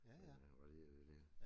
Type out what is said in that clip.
Men han var lige dygtig